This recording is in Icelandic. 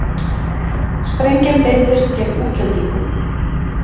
Sprengjan beindist gegn útlendingum